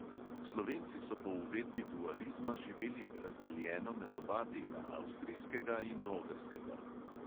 Slovenci so po uvedbi dualizma živeli razdeljeno med oba dela, avstrijskega in ogrskega.